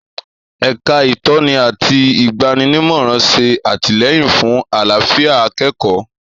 èka Itoni àti igbaninimoran ṣé atilẹyin fún àlàfíà akẹẹkọ